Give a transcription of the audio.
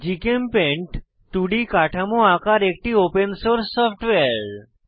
GChemPaint 2ডি কাঠামো আঁকার একটি ওপেন সোর্স সফটওয়্যার